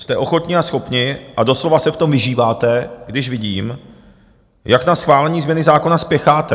Jste ochotní a schopní a doslova se v tom vyžíváte, když vidím, jak na schválení změny zákona spěcháte.